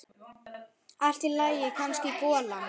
Allt í lagi, kannski golan.